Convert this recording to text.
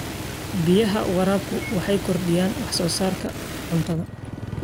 Biyaha waraabku waxay kordhiyaan wax soo saarka cuntada.